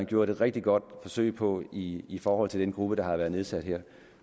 gjort et rigtig godt forsøg på i i forhold til den gruppe der har været nedsat her